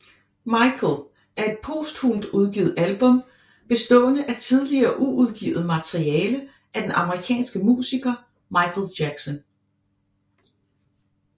Michael er et posthumt udgivet album bestående af tidligere uudgivet materiale af den amerikanske musiker Michael Jackson